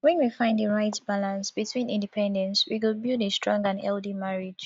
when we find di right balance between independence we go build a strong and healthy marriage